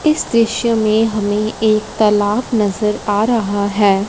इस दृश्य में हमें एक तालाब नजर आ रहा है।